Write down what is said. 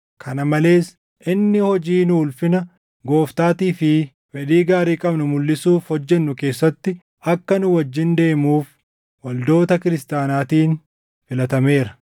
Kana malees inni hojii nu ulfina Gooftaatii fi fedhii gaarii qabnu mulʼisuuf hojjennu keessatti akka nu wajjin deemuuf waldoota kiristaanaatiin filatameera.